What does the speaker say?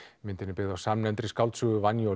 myndin er byggð á samnefndri skáldsögu